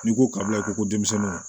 N'i ko kabila ko denmisɛnw